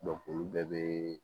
olu bɛɛ be